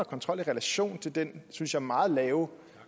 kontrol i relation til den synes jeg meget lave